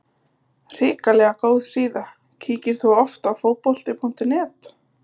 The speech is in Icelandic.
Hrikalega góð síða Kíkir þú oft á Fótbolti.net?